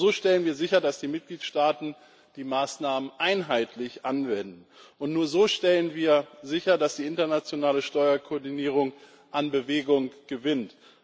Nur so stellen wir sicher, dass die Mitgliedstaaten die Maßnahmen einheitlich anwenden, und nur so stellen wir sicher, dass die internationale Steuerkoordinierung an Bewegung gewinnt.